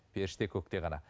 періште көкте ғана